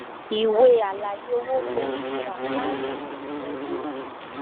ìwé àlàyé owó ń bẹ nínú àkáǹtì ìgbìyànjù.